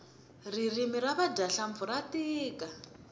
ririmi ra vadya hlampfi ra tika